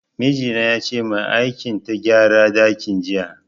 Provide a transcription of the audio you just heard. Miji na yace mai aikin ta gyara dakin jiya.